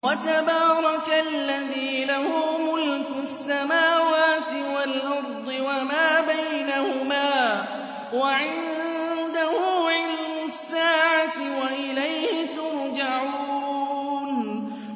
وَتَبَارَكَ الَّذِي لَهُ مُلْكُ السَّمَاوَاتِ وَالْأَرْضِ وَمَا بَيْنَهُمَا وَعِندَهُ عِلْمُ السَّاعَةِ وَإِلَيْهِ تُرْجَعُونَ